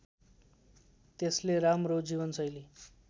त्यसले राम्रो जीवनशैली